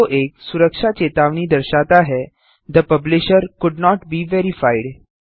window एक सुरक्षा चेतावनी दर्शाता है the publisher could not be verified